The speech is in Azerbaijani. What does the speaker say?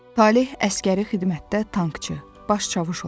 Taleh əsgəri xidmətdə tankçı, baş çavuş olmuşdu.